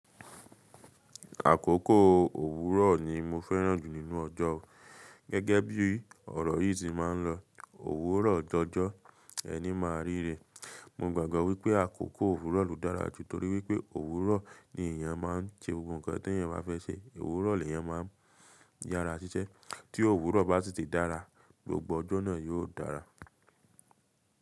Àkókò òwúrọ̀ ni mo fẹ́ràn jù nínú ọjọ́. Gẹ́gẹ́ bí ọ̀rọ̀ yìí se máa ń lọ, òwúrọ̀ jọjọ́ ẹni máa ríre. Mo gbàgbọ́ wípé àkókò òwúrọ̀ ló dára jù torí wípé òwúrọ̀ ni èeyàn máa ń ṣe gbogbo nkàn tí èeyàn bá fẹ́ ṣe. Òwúrọ̀ ni èeyàn máa ń yára ṣiṣẹ́. Tí òwúrọ̀ bá si ti dàrà, gbogbo ọjọ́ náà yóò dàrà.